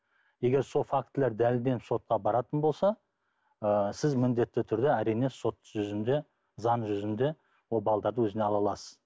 егер сол фактілер дәлелденіп сотқа баратын болса ы сіз міндетті түрде әрине сот жүзінде заң жүзінде ол балдарды өзіңе ала аласыз